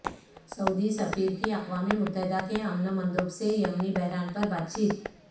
سعودی سفیر کی اقوام متحدہ کے امن مندوب سے یمنی بحران پر بات چیت